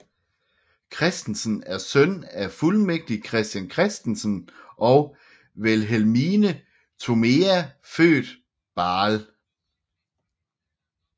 Christensen er søn af fuldmægtig Christian Christensen og Vilhelmine Thomea født Baahl